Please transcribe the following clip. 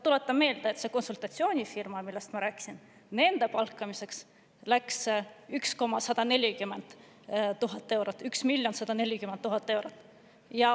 Tuletan meelde, et selle konsultatsioonifirma palkamiseks, millest ma rääkisin, läks 1 140 000 eurot.